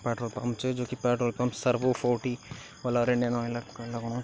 Petrol pump च जू की petrol pump Servo four T वला इंडियन आयला कण लगणु।